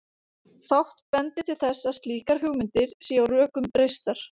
Fátt bendir til þess að slíkar hugmyndir séu á rökum reistar.